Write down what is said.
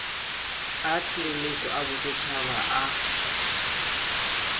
a tshireletso a bosetšhaba a